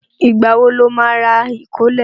Ìgbà wo lo má rà ìkólẹ̀?